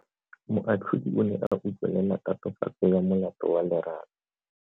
Moatlhodi o ne a utlwelela tatofatso ya molato wa Lerato.